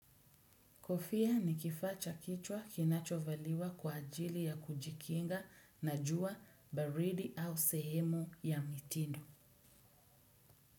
Kofia ni kifaa cha kichwa kinachovaliwa kwa ajili ya kujikinga na jua baridi au sehemu ya mitindo.